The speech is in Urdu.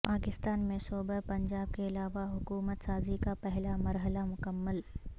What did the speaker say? پاکستان میں صوبہ پنجاب کے علاوہ حکومت سازی کا پہلا مرحلہ مکمل